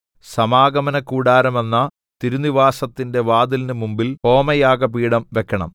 സമാഗമനകൂടാരമെന്ന തിരുനിവാസത്തിന്റെ വാതിലിന് മുമ്പിൽ ഹോമയാഗപീഠം വെക്കണം